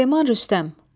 Süleyman Rüstəm.